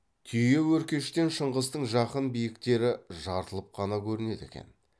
түйеөркештен шыңғыстың жақын биіктері жартылып қана көрінеді екен